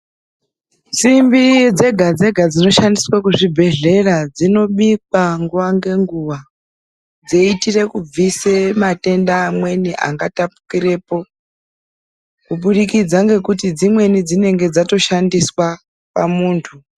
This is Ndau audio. Simbi dzega dzega dzinoshandiswe kuzvibhedhlera dzinobikwa nguwa ngenguwa dzeiitire kubviswa mwatenda amweni angatapukirepo kuburikidza ngekuti dzimweni dzatoshandiswa pamuntu.